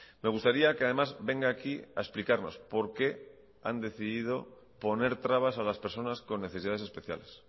me gustaría que además venga aquí a explicarnos por qué han decidido poner trabas a las personas con necesidades especiales